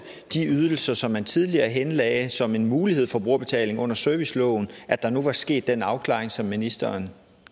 de ydelser som man tidligere henlagde som en mulighed for brugerbetaling under serviceloven at der nu var sket den afklaring som ministeren